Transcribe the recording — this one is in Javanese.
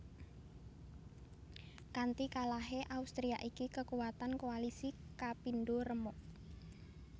Kanti kalahé Austria iki kekuatan koalisi kapindo remuk